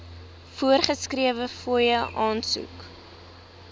voorgeskrewe fooie aansoek